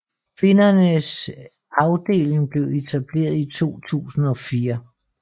Kvindernes afdeling blev etableret i 2004